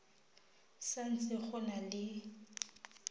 sa ntse go na le